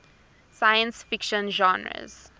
science fiction genres